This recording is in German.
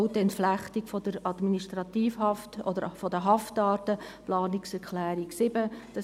Auch die Entflechtung der Administrativhaft oder der Haftarten – die Planungserklärung 7;